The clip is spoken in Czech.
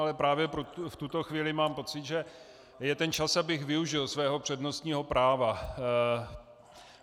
Ale právě v tuto chvíli mám pocit, že je ten čas, abych využil svého přednostního práva.